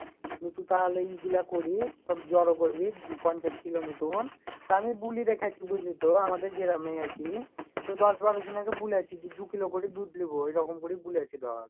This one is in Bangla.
তু তাহলে এইগুলা করিস সব জড়ো করবি পঞ্চাশ কিলোর মতন তা আমিই বুলে রেখেছি বুজলিতো আমাদের গ্রামে আর কি তো দশ বারো জন কে বলছি যে দুকিলো করে দুধ নিবো এইরকম করে বলেছি ধর